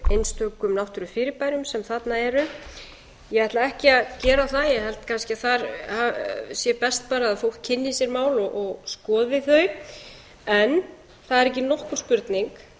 einstökum náttúrufyrirbærum sem þarna eru ég ætla ekki að gera það ég held kannski að þar sé best bara að fólk kynni sér mál og skoði þau en það er ekki nokkur spurning